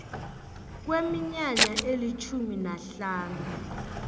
kweminyaka elitjhumi nahlanu